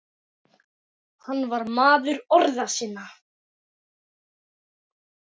Hann var maður orða sinna.